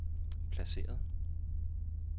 placeret